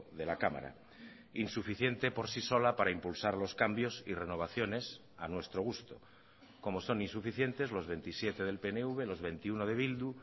de la cámara insuficiente por sí sola para impulsar los cambios y renovaciones a nuestro gusto como son insuficientes los veintisiete del pnv los veintiuno de bildu